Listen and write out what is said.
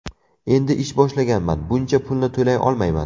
Endi ish boshlaganman, buncha pulni to‘lay olmayman.